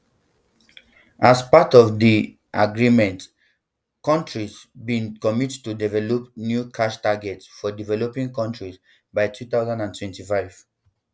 as part of di um agreement countries bin commit to develop a new cash target for developing nations by two thousand and twenty-five